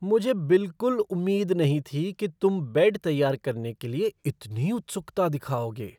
मुझे बिलकुल उम्मीद नहीं थी कि तुम बेड तैयार करने के लिए इतनी उत्सुकता दिखाओगे।